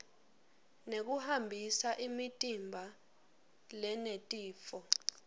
nekuhambisa imitimba lenetifo